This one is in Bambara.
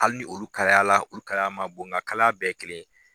ali ni olu kalayala olu kaya ma bon nka kalaya bɛɛ ye kelen ye.